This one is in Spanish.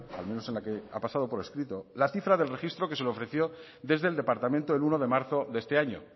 al menos en la que ha pasado por escrito la cifra del registro que se le ofreció desde el departamento el uno de marzo de este año